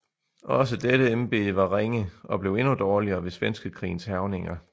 Også dette embede var ringe og blev endnu dårligere ved Svenskekrigens hærgninger